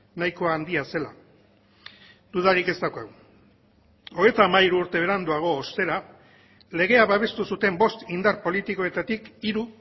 nahiko handia zela dudarik ez daukagu hogeita hamairu urte beranduago ostera legea babestu zuten bost indar politikoetatik hiru